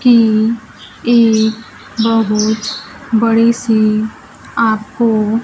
की एक बहुत बड़ी सी आपको--